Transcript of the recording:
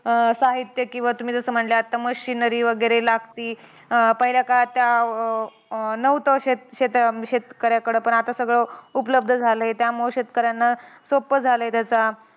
साहित्य किंवा तुम्ही जसं म्हणल्या आत्ता machineries वगैरे लागती. अं पहिल्या काळात त्या अं नव्हतं शेत शेत शेतकऱ्याकडं. पण आता सगळं उपलब्ध झालंय. त्यामुळे शेतकऱ्यांना सोप्पं झालंय त्याचं